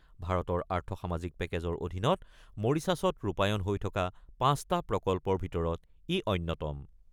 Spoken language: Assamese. ভাৰতৰ আৰ্থ-সামাজিক পেকেজৰ অধীনত মৰিছাছত ৰূপায়ণ হৈ থকা পাঁচটা প্ৰকল্পৰ ভিতৰত ই অন্যতম।